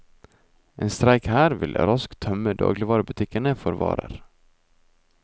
En streik her vil raskt tømme dagligvarebutikkene for varer.